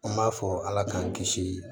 An b'a fɔ ala k'an kisi